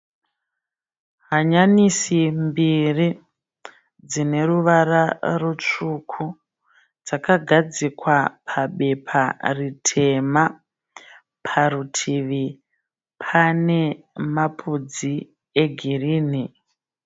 Hanyanisi mbiri dzine ruvara rutsvuku dzakadzikwa pabepa ritema. Parutivi pane mapudzi egirinhi.